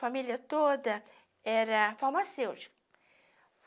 Família toda era farmacêutica.